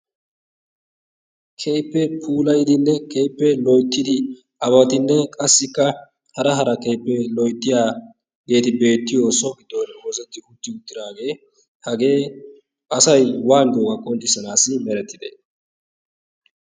kehippe pulayidinne kehippee loyttidi ababatinne qassikka hara hara kehippee loyttiyageeti beettiyo so gidoni doretti utti uttiraagee hagee asai wani doowaa qondissanaassi merettide?